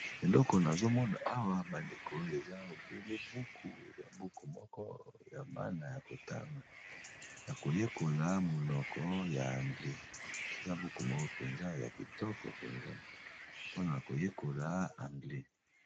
eloko nazomona awa bandeko eza obele buku eza buku moko ya bana ya kotanga ya koyekola monoko ya anglie eza buku moko mpenza ya kitoko mpenza mpona koyekola anglie